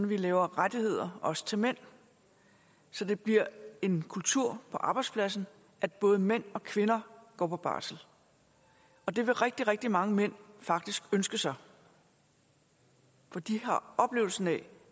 vi laver rettigheder også til mænd så det bliver en kultur på arbejdspladsen at både mænd og kvinder går på barsel og det ville rigtig rigtig mange mænd faktisk ønske sig for de har oplevelsen af